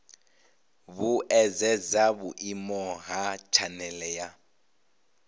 vhuedzedza vhuimo ha tshanele ya